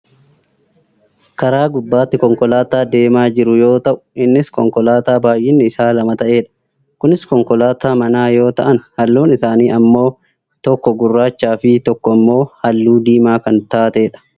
karaa gubbbaatti konkolaataa deemaa jiru yoo ta'u innis konkolaataa baayyinni isaa lama ta'edha. kunis konkolaataa manaa yoo ta'an halluun isaanii ammoo tokko gurraachaa fi tokko ammoo halluu diimaa kan taatedha.